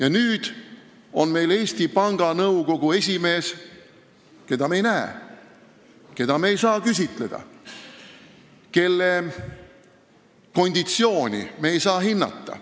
Aga nüüd on meil Eesti Panga Nõukogu esimees, keda me ei näe, keda me ei saa küsitleda, kelle konditsiooni me ei saa hinnata.